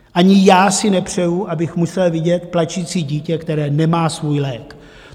Ani já si nepřeji, abych musel vidět plačící dítě, které nemá svůj lék.